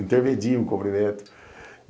Intermedia um cumprimento.